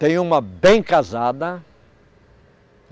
Tem uma bem casada.